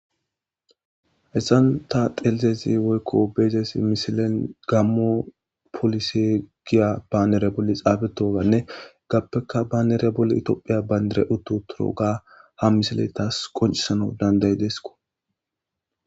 Hessan ta xelizezi woykko beezezi misilen gammo polisi giya baanere bolli xaabetoganne gappeka baanere bolli itophiya baynere utto turo ga ha misile taas qoncisana danday deeskko